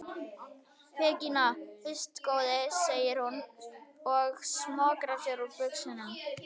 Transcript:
Peningana fyrst góði, segir hún og smokrar sér úr buxunum.